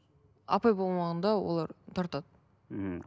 апай болмағанда олар тартады мхм